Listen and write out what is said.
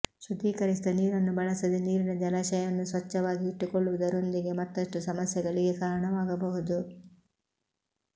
ಶುದ್ಧೀಕರಿಸಿದ ನೀರನ್ನು ಬಳಸದೆ ನೀರಿನ ಜಲಾಶಯವನ್ನು ಸ್ವಚ್ಛವಾಗಿ ಇಟ್ಟುಕೊಳ್ಳುವುದರೊಂದಿಗೆ ಮತ್ತಷ್ಟು ಸಮಸ್ಯೆಗಳಿಗೆ ಕಾರಣವಾಗಬಹುದು